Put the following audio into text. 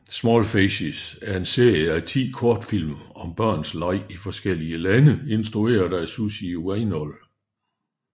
Small faces er en serie af 10 kortfilm om børns leg i forskellige lande instrueret af Sussie Weinold